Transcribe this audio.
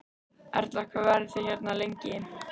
Erla: Hvað verðið þið hérna lengi?